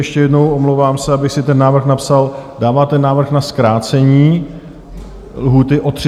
Ještě jednou, omlouvám se, abych si ten návrh napsal: dáváte návrh na zkrácení lhůty o 30 dnů?